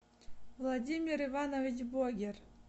владимир иванович богер